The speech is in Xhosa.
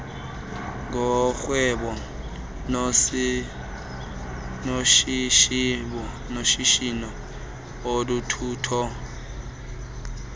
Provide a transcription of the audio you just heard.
ngorhwebo noshishino uthutho